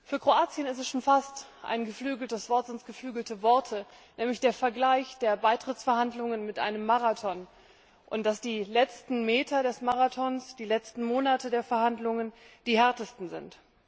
Für Kroatien ist es schon fast ein geflügeltes Wort nämlich der Vergleich der Beitrittsverhandlungen mit einem Marathon und dass die letzten Meter des Marathons, die letzten Monate der Verhandlungen, die härtesten sind.